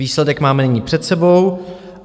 Výsledek máme nyní před sebou.